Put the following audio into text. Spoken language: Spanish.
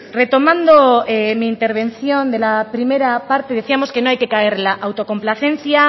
retomando mi intervención de la primera parte decíamos que no hay que caer en la autocomplacencia